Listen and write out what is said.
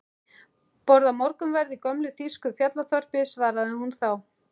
Borða morgunverð í gömlu þýsku fjallaþorpi, svaraði hún þá.